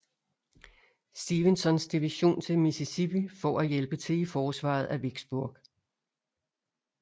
Stevensons division til Mississippi for at hjælpe til i forsvaret af Vicksburg